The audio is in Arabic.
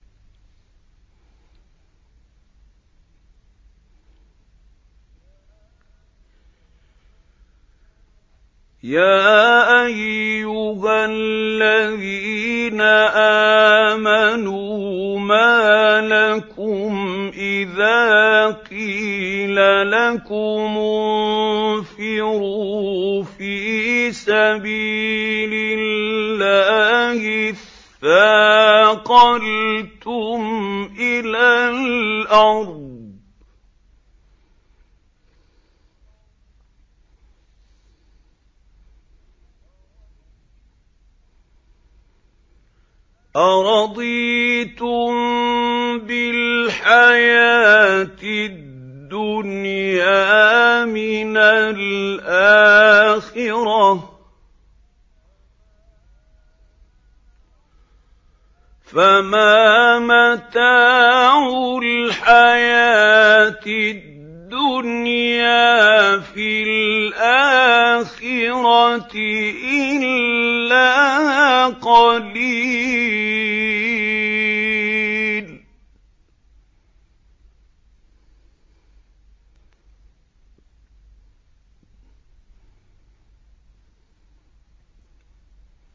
يَا أَيُّهَا الَّذِينَ آمَنُوا مَا لَكُمْ إِذَا قِيلَ لَكُمُ انفِرُوا فِي سَبِيلِ اللَّهِ اثَّاقَلْتُمْ إِلَى الْأَرْضِ ۚ أَرَضِيتُم بِالْحَيَاةِ الدُّنْيَا مِنَ الْآخِرَةِ ۚ فَمَا مَتَاعُ الْحَيَاةِ الدُّنْيَا فِي الْآخِرَةِ إِلَّا قَلِيلٌ